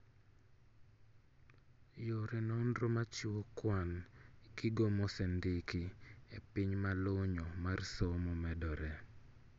Yore nonro machiwo kwan, gigo mose ndiki e piny ma lony mar somo medore